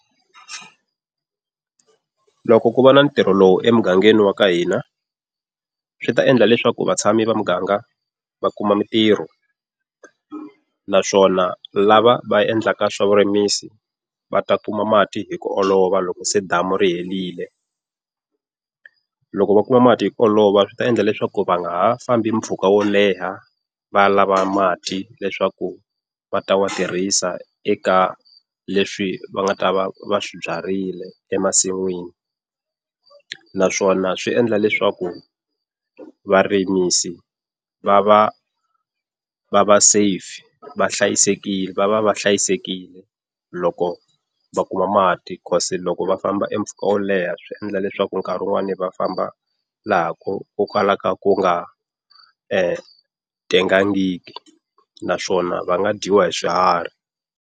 Loko ku va na ntirho lowu emugangeni wa ka hina, swi ta endla leswaku vatshami va muganga va kuma mintirho. Naswona lava va endlaka swa vurimisi, va ta kuma mati hi ku olova loko se damu ri herile. Loko va kuma mati hi olova swi ta endla leswaku va nga ha fambi mpfhuka wo leha va lava mati leswaku va ta ma tirhisa eka leswi va nga ta va va swi byarile emasin'wini. Naswona swi endla leswaku varimisi va va va va safe va hlayisekile va va va hlayisekile loko va kuma mati. Loko va famba empfhuka wo leha swi endla leswaku nkarhi un'wani va famba laha ku ku kalaka ku nga tengangiki naswona va nga dyiwa hi swiharhi.